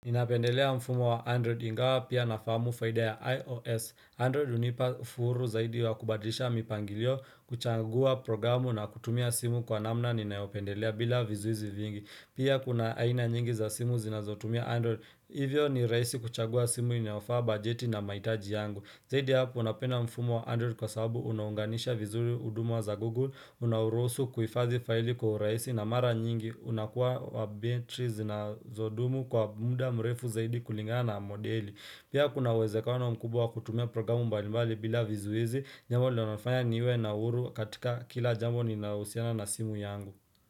Ninapendelea mfumo wa Android ingawa pia nafamu faida ya iOS. Android hunipa furu zaidi ya kubadisha mipangilio kuchangua programu na kutumia simu kwa namna ninayopendelea bila vizuizi vingi. Pia kuna aina nyingi za simu zinazotumia Android. Hivyo ni rahisi kuchagua simu inafaa bajeti na mahitaji yangu. Zaidi ya hapo napenda mfumo wa Android kwa sababu unanganisha vizuri hudumu za Google, unaruhusu kuifadhi faili kwa urahisi na mara nyingi unakuwa wa betri zinazodumu kwa muda mrefu zaidi kulingana na modeli. Pia kuna uwezekano mkubwa wa kutumia programu mbalimbali bila vizuizi, jambo linalofanya niwe na uhuru katika kila jambo ninahusiana na simu yangu.